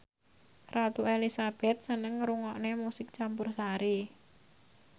Ratu Elizabeth seneng ngrungokne musik campursari